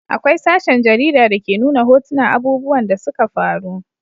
Akwai sashen jarida da ke nuna hotunan abubuwan da suka faru